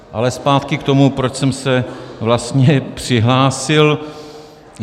Ale zpátky k tomu, proč jsem se vlastně přihlásil.